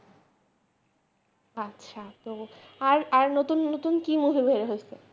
আচ্ছা তো আর আর নতুন নতুন কি movie বের হয়েছে